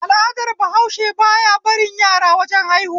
Al'adar bahause ba ya barin yara wajen haihuwa